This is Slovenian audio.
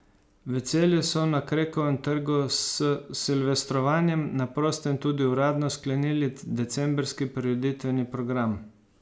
V Celju so na Krekovem trgu s silvestrovanjem na prostem tudi uradno sklenili decembrski prireditveni program.